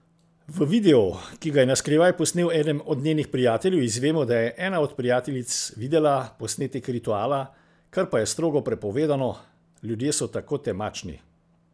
V videu, ki ga je na skrivaj posnel eden od njenih prijateljev, izvemo, da je ena od prijateljic videla posnetek rituala, kar pa je strogo prepovedano: 'Ljudje so tako temačni...